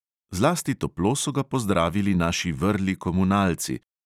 Zlasti toplo so ga pozdravili naši vrli komunalci.